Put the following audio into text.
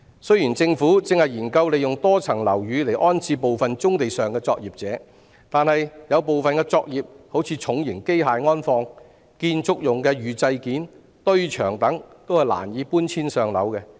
雖然政府正研究利用多層樓宇安置部分棕地上的作業者，但有部分作業例如重型機械安放、建築用的預製件和堆場等，也是難以搬遷上樓的。